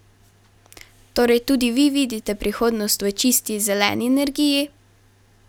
Torej tudi vi vidite prihodnost v čisti, zeleni energiji?